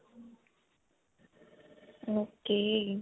ok.